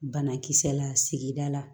Banakisɛ la sigida la